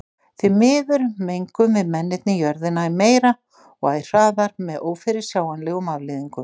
Því miður mengum við mennirnir jörðina æ meira og æ hraðar með ófyrirsjáanlegum afleiðingum.